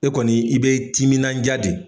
E kɔni i bɛ timinandiya de.